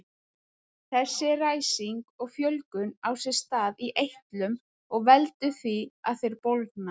Þessi ræsing og fjölgun á sér stað í eitlum og veldur því að þeir bólgna.